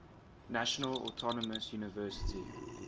national autonomous university